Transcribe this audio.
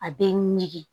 A bɛ meleke